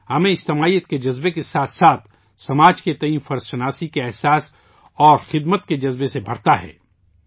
ہمیں اجتماعیت کے جذبہ کے ساتھ ساتھ، سماج کے تئیں فرض کے جذبے اور خدمت کے جذبے سے بھرتا ہے